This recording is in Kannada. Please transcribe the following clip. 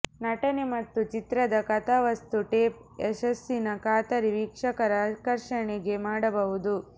ನಟನೆ ಮತ್ತು ಚಿತ್ರದ ಕಥಾವಸ್ತು ಟೇಪ್ ಯಶಸ್ಸಿನ ಖಾತರಿ ವೀಕ್ಷಕರ ಆಕರ್ಷಣೆಗೆ ಮಾಡಬಹುದು